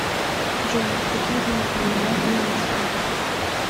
джой какие деньги принимают в венеции